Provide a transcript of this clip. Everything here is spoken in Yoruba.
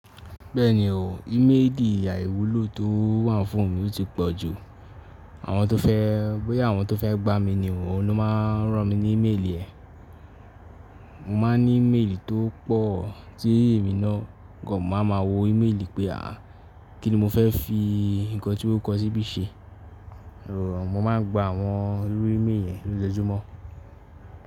Bẹ́ẹ̀ni o, íméèlì àìwúlò tó wà fún mi ò tí pọ̀ jù. Àwọn tó fẹ́, bóyá àwọn tó fẹ́ gbá mi ni o, ní o máa ń rán mi ní íméèlì ẹ. Mo má n ní íméèlì tó pọ̀ tí èmi náà kàn máa ma wo íméèlì pé a, kíni mo fẹ́ fi nǹkan tí wọn kọ̀ síbí ṣe. O, mo máa ń gbá wọn lórí íméèlì yẹn lójoojúmọ́.